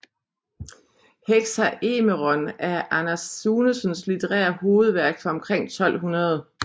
Hexaëmeron er Anders Sunesens litterære hovedværk fra omkring 1200